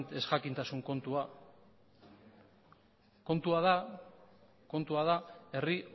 ezjakintasun kontua kontua da herri